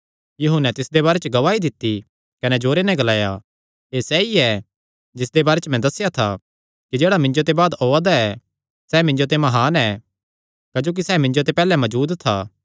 यूहन्ने तिसदे बारे च गवाही दित्ती कने जोरे नैं ग्लाया एह़ सैई ऐ जिसदे बारे च मैं दस्सेया था कि जेह्ड़ा मिन्जो ते बाद ओआ दा ऐ सैह़ मिन्जो ते म्हान ऐ क्जोकि सैह़ मिन्जो ते पैहल्ले मजूद था